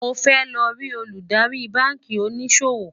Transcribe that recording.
mó fẹ ló rí Olùdarí bánkì òní ṣòwò